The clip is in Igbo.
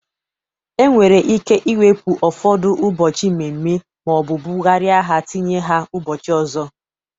E nwere ike iwepu ụfọdụ ụbọchị mmemme maọbụ bụgarịa ha tinye ha ụbọchị ọzọ.